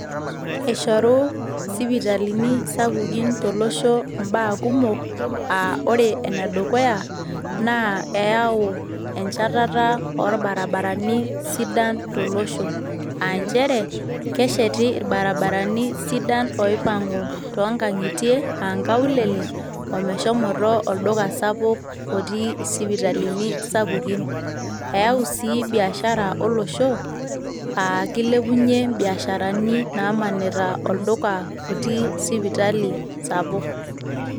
Eshoru isipitalini sapukin tolosho imbaa kumok, ah ore enedukuya, na eyao enchatata o barabarani sidan tolosho. Ah njere, kesheti irbarabarani sidan oipang'u tonkang'itie ah nkaulele, omeshomoto olduka sapuk otii isipitalini sapukin. Eyao sii biashara olosho, ah kilepunye biasharani namanita olduka otii sipitali sapuk.